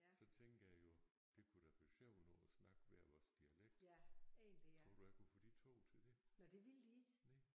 Så tænker jeg jo det kunne da være sjovt nu at snakke hver vores dialekt tror du jeg kunne få de 2 til det? Nej